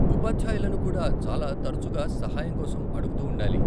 ఉపాధ్యాయులను కూడా చాలా తరచుగా సహాయం కోసం అడుగుతూ ఉండాలి.